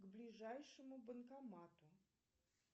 к ближайшему банкомату